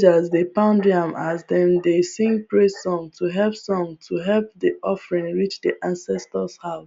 villagers dey pound yam as dem dey sing praise song to help song to help the offering reach the ancestors house